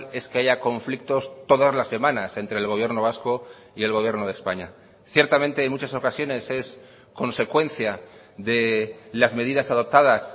es que haya conflictos todas las semanas entre el gobierno vasco y el gobierno de españa ciertamente en muchas ocasiones es consecuencia de las medidas adoptadas